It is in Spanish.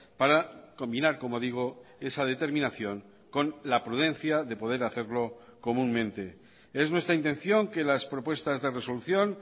para combinar como digo esa determinación con la prudencia de poder hacerlo comúnmente es nuestra intención que las propuestas de resolución